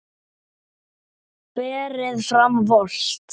Berið fram volgt.